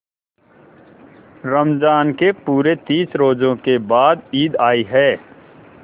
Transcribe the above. रमज़ान के पूरे तीस रोजों के बाद ईद आई है